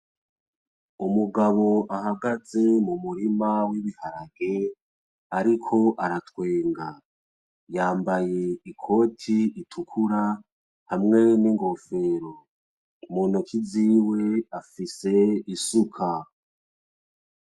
Umugabo ahagaze mu murima w'ibiharage ariko aratwenga yambaye ikoti itukura hamwe n'ingofero muntoki ziwe afise isuka .